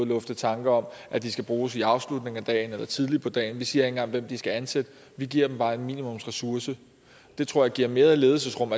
lufte tanker om at de skal bruges i afslutningen af dagen eller tidligt på dagen vi siger ikke engang hvem de skal ansætte vi giver dem bare en minimumsressource det tror jeg giver mere ledelsesrum